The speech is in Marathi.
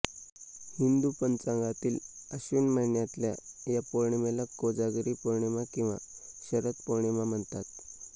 हिंदू पंचांगातील आश्विन महिन्यातल्या या पौर्णिमेला कोजागरी पौर्णिमा किंवा शरद पौर्णिमा म्हणतात